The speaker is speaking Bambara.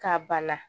Ka bana